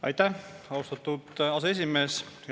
Aitäh, austatud aseesimees!